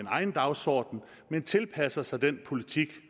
egen dagsorden men tilpasser sig den politik